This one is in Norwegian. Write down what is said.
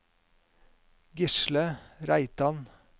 Gisle Reitan